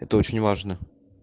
это очень важно